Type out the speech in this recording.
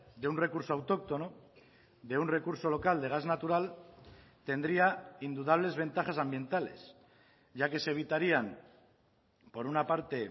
de un recurso autóctono de un recurso local de gas natural tendría indudables ventajas ambientales ya que se evitarían por una parte